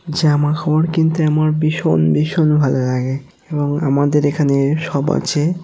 জামা খাবড় কিনতে আমার বিষণ বিষণ ভাল লাগে এবং আমাদের এখানে সব আছে।